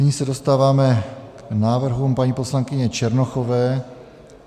Nyní se dostáváme k návrhům paní poslankyně Černochové.